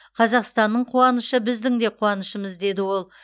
қазақстанның қуанышы біздің де қуанышымыз деді ол